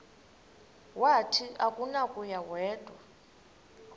wathi akunakuya wedw